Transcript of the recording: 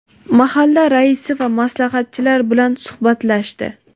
mahalla raisi va maslahatchilar bilan suhbatlashdi.